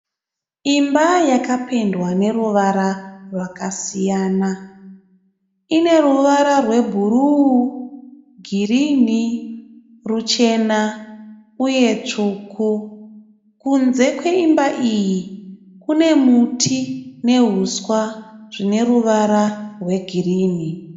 Imba yapendwa neruvara rwakasiyana. Ine ruvara rwebhuru, girinhi, ruchena uye tsvuku. Kunze kwaimba iyi kune muti nehuswa zvine ruvara rwegirinhi.